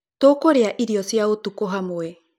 Tũkũrĩa irio cĩa ũtũkũ hamwe.